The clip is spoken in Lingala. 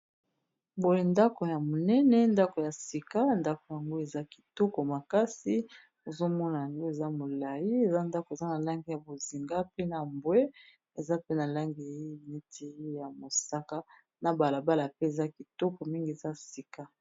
Boye ndako ya monene ndako ya sika ndako yango eza kitoko makasi ozomona ngo eza molayi eza ndako eza na langi ya bozinga pe na mbwe eza pe na langi neti ya mosaka na balabala pe eza kitoko mingi eza sika.